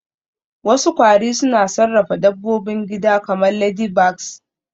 Wasu kwari suna sarrafa dabbobin gida kamar ladybugs